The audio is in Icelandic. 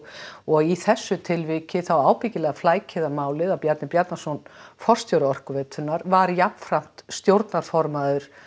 og í þessu tilviki þá ábyggilega flækir það málið að Bjarni Bjarnason forstjóri Orkuveitunnar var jafnframt stjórnarformaður